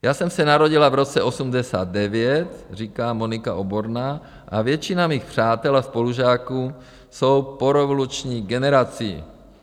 Já jsem se narodila v roce 1989, říká Monika Oborná, a většina mých přátel a spolužáků jsou porevoluční generací.